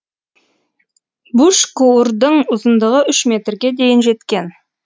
бушкуурдың ұзындығы үш метрге дейін жеткен